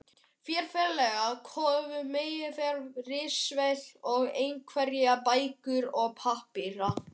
Þeir félagar höfðu meðferðis ritvél og einhverjar bækur og pappíra.